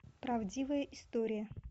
правдивая история